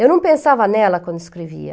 Eu não pensava nela quando escrevia.